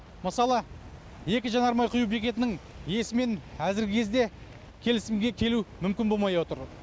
мысалы екі жанармай құю бекетінің иесімен әзіргі кезде келісімге келу мүмкін болмай отыр